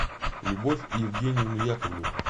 любовь евгеньевну яковлеву